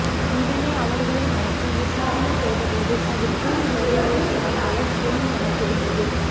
உடனே அவர்களை மடக்கி விசாரணை செய்தபோது அதில் டூவீலரை ஓட்டி வந்தவர் பெண் என தெரியவந்தது